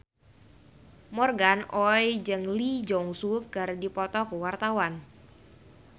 Morgan Oey jeung Lee Jeong Suk keur dipoto ku wartawan